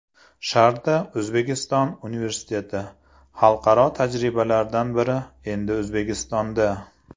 ShardaO‘zbekiston universiteti: Xalqaro tajribalardan biri endi O‘zbekistonda.